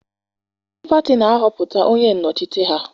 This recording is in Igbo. Ndị pati na-ahọpụta onye nnọchite ha.